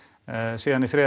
síðan í þriðja